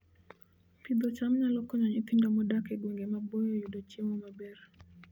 Pidho cham nyalo konyo nyithindo modak e gwenge maboyo yudo chiemo maber